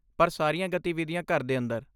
ਪਰ ਸਾਰੀਆਂ ਗਤੀਵਿਧੀਆਂ ਘਰ ਦੇ ਅੰਦਰ।